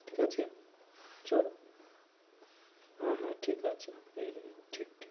ঠিক আছে, চলো, হ্যাঁ, হ্যাঁ, ঠিক আছে হম হম ঠিক